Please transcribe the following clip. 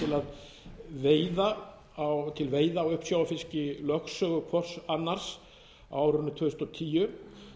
til veiða á uppsjávarfiski í lögsögu hvors annars á árinu tvö þúsund og tíu